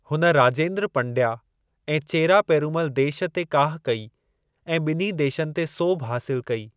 हुन, राजेंद्र पंडया ऐं चेरा पेरूमल देश ते काह कई ऐं ॿिन्ही देशनि ते सोभु हासिल कई।